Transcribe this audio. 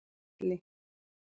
Atli